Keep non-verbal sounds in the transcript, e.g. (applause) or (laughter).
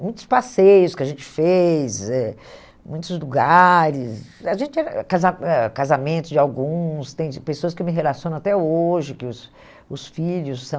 Muitos passeios que a gente fez eh, muitos lugares, a gente era (unintelligible) casa eh casamentos de alguns, tem pessoas que me relacionam até hoje, que os os filhos são...